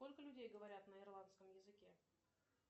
сколько людей говорят на ирландском языке